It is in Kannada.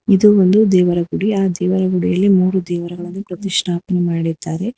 ಇದು ಒಂದು ದೇವರ ಗುಡಿ ಆ ದೇವರ ಗುಡಿಯಲ್ಲಿ ಮೂರು ದೇವರುಗಳನ್ನು ಪ್ರತಿಷ್ಠಾಪನೆ ಮಾಡಿದ್ದಾರೆ.